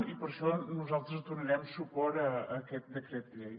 i per això nosaltres donarem suport a aquest decret llei